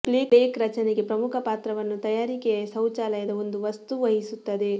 plaque ರಚನೆಗೆ ಪ್ರಮುಖ ಪಾತ್ರವನ್ನು ತಯಾರಿಕೆಯ ಶೌಚಾಲಯದ ಒಂದು ವಸ್ತು ವಹಿಸುತ್ತದೆ